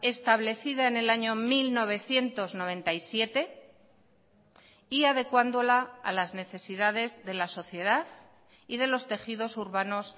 establecida en el año mil novecientos noventa y siete y adecuándola a las necesidades de la sociedad y de los tejidos urbanos